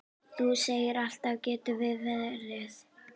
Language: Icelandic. Þú segir alltaf getur verið!